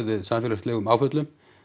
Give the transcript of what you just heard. við samfélagslegum áföllum